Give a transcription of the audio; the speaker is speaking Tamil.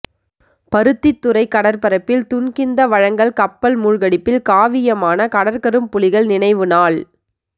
பருத்தித்துறைக் கடற்பரப்பில் துன்கிந்த வழங்கல் கப்பல் மூழ்கடிப்பில் காவியமான கடற்கரும்புலிகள் நினைவு நாள்